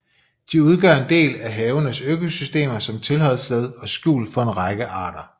De udgør en del af havenes økosystemer som tilholdssted og skjul for en række arter